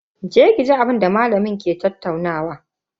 Je ki ji abinda malamin ke tattaunawa.